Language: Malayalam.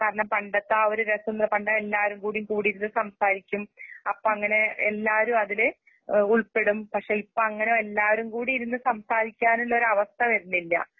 കാരണം പണ്ടത്തെ ആഒര് രസംന്ന് പണ്ട്എല്ലാരുംകൂടി കൂടിയിരുന്ന്സംസാരിക്കും അപ്പഅങ്ങനെ എല്ലാരുഅതിലേ എഹ് ഉൾപ്പെടും. പക്ഷെ ഇപ്പഅങ്ങനെയെല്ലാരുംകൂടിയിരുന്ന്സംസാരിക്കാനുള്ള അവസ്ഥവരുന്നില്ല.